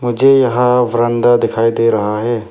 मुझे यहां व्ररंदा दिखाई दे रहा है।